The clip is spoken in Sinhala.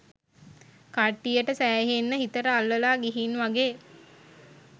කට්ටියට සෑහෙන්න හිතට අල්ලලා ගිහින් වගේ